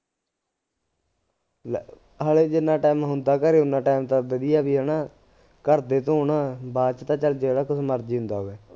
ਲੈ ਹਾਲੇ ਜਿੰਨਾਂ time ਹੁੰਦਾ ਘਰੇ ਉਹਨਾਂ time ਤਾਂ ਵਧੀਆ ਬਈ ਹੈ ਨਾ ਘਰ ਦੇ ਧੌਣ, ਬਾਅਦ ਚ ਤਾਂ ਚੱਲ ਜਿਹੜਾ ਕੁਛ ਮਰਜੀ ਹੁੰਦਾ ਹੋਵੇ